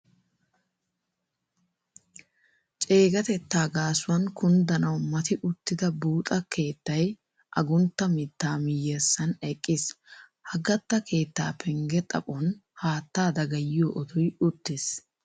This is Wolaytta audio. Ceegatettaa gaasuwan kunddanawu mati uttida buuxa keettay aguntta mittaa miyyessan eqqiis. Ha gatta keettaa pengge xaphon haattaa dagayiyo otoy uttiis.